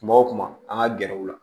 Kuma o kuma an ka gɛrɛw la